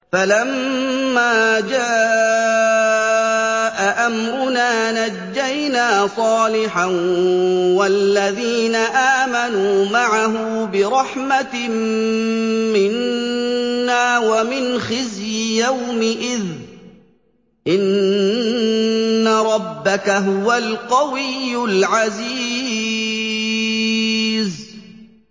فَلَمَّا جَاءَ أَمْرُنَا نَجَّيْنَا صَالِحًا وَالَّذِينَ آمَنُوا مَعَهُ بِرَحْمَةٍ مِّنَّا وَمِنْ خِزْيِ يَوْمِئِذٍ ۗ إِنَّ رَبَّكَ هُوَ الْقَوِيُّ الْعَزِيزُ